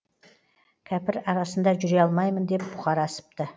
кәпір арасында жүре алмаймын деп бұқар асыпты